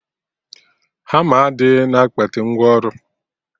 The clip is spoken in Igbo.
Hama adịghị na akpati ngwa ọrụ